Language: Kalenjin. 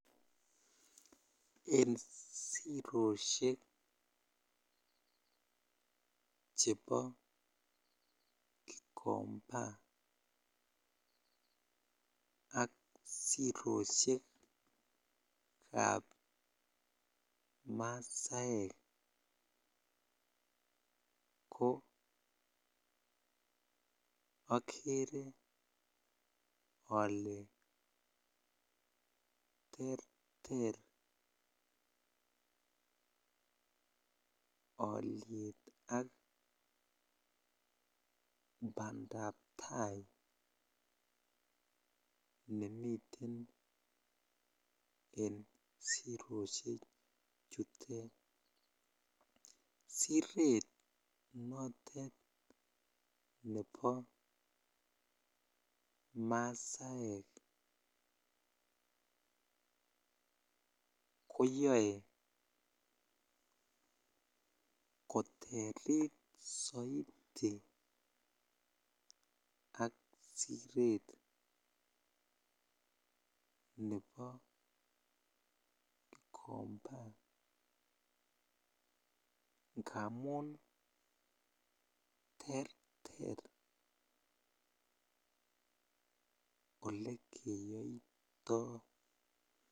En siroshek chebo Gikomba ak siroshekab masaek ko okere olee terter oliet ak bandab taai nemiten en siroshe chutet, siret notet nebo masaek koyoe koterit soiti ak siret nebo Gikomba ngamun terter olekeyoito.